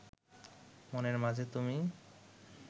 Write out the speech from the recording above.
মনের মাঝে তুমি